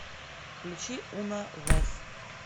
включи уна вэз